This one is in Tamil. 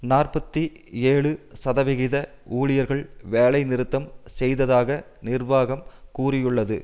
நாற்பத்தி ஏழு சதவிகித ஊழியர்கள் வேலைநிறுத்தம் செய்ததாக நிர்வாகம் கூறியுள்ளது